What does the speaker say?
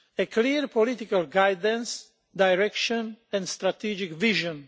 clear political guidance, direction and strategic vision.